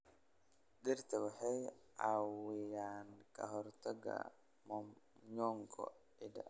Dhirta waxay caawiyaan ka hortagga mmomonyoko ciidda.